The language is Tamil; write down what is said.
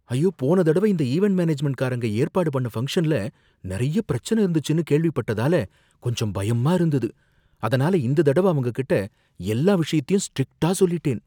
ஐயோ! போன தடவ இந்த ஈவென்ட் மேனேஜ்மென்ட்காரங்க ஏற்பாடு பண்ண ஃபங்ஷன்ல நறைய பிரச்சனை இருந்துச்சுனு கேள்விப்பட்டதால கொஞ்சம் பயமா இருந்தது, அதனால இந்த தடவ அவங்க கிட்ட எல்லா விஷயத்தையும் ஸ்ட்ரிக்ட்டா சொல்லிட்டேன்.